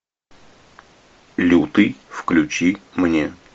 лютый включи мне